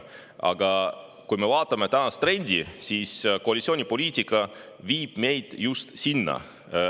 Aga kui me vaatame tänast trendi, siis näeme, et koalitsiooni poliitika viib meid just sinnapoole.